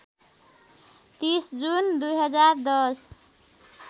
३० June २०१०